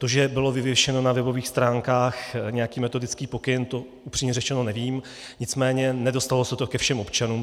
To, že byl vyvěšen na webových stránkách nějaký metodický pokyn, to upřímně řečeno nevím, nicméně nedostalo se to ke všem občanům.